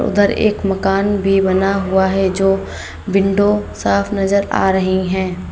उधर एक मकान भी बना हुआ है जो विंडो साफ नजर आ रही हैं।